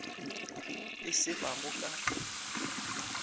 e se ba go ka